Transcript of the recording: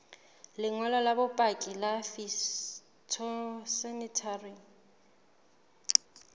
lengolo la bopaki la phytosanitary